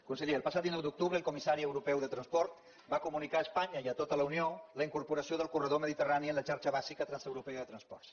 conseller el passat dinou d’octubre el comissari europeu de transport va comunicar a es panya i a tota la unió la incorporació del corredor mediterrani en la xarxa bàsica transeuropea de transports